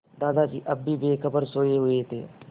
दादाजी अब भी बेखबर सोये हुए थे